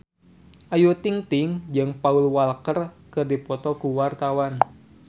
Ayu Ting-ting jeung Paul Walker keur dipoto ku wartawan